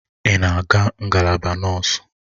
Ị na-aga ngalaba nọọsụ?